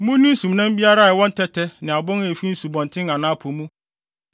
“ ‘Munni nsumnam biara a ɛwɔ ntɛtɛ ne abon a efi nsubɔnten anaa po mu.